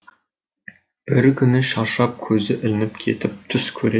бір күні шаршап көзі ілініп кетіп түс көреді